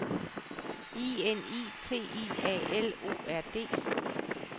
I N I T I A L O R D